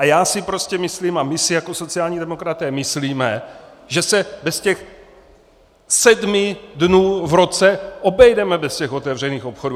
A já si prostě myslím a my si jako sociální demokraté myslíme, že se bez těch sedmi dnů v roce obejdeme bez těch otevřených obchodů.